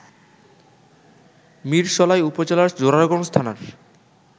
মিরসরাই উপজেলার জোরারগঞ্জ থানার